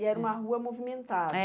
E era uma rua movimentada? Eh